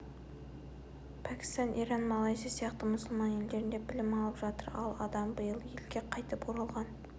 пәкістан иран малайзия сияқты мұсылман елдерінде білім алып жатыр ал адам биыл елге қайтып оралған